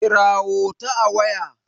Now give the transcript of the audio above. kirawo ta a waya!